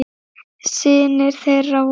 Synir þeirra voru